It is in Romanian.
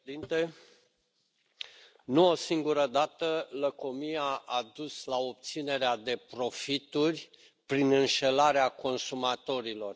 Domnule președinte, nu o singură dată lăcomia a dus la obținerea de profituri prin înșelarea consumatorilor.